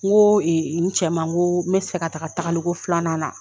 Ŋoo n cɛ ma ŋoo n be fɛ ka taga tagaliko filanan na